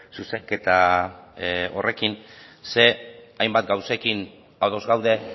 zuzenketa horrekin zeren hainbat gauzekin ados gaude